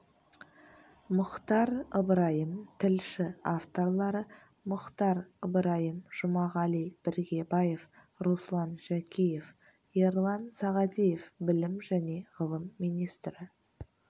мұхтар ыбырайым тілші авторлары мұхтар ыбырайым жұмағали біргебаев руслан жәкеев ерлан сағадиев білім және ғылым министрі